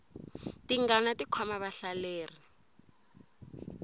tingana ti khoma vahlaleri